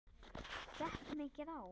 Gekk mikið á?